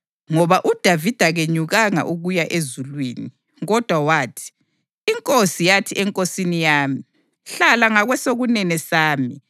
Ngoba uDavida kenyukanga ukuya ezulwini, kodwa wathi, ‘INkosi yathi eNkosini yami: “Hlala ngakwesokunene sami